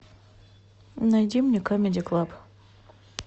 найди мне камеди клаб